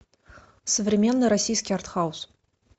современный российский артхаус